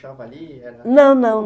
Não, não, não.